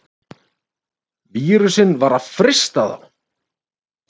Vírusinn var að frysta þá!